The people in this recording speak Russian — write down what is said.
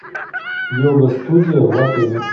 йога студия в отеле